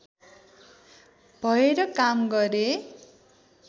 भएर काम गरे